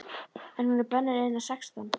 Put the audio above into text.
En hún er bönnuð innan sextán!